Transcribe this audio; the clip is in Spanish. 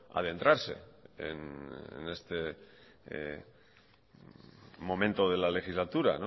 adentrarse en este momento de la legislatura